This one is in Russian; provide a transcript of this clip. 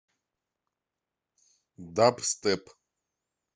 дабстеп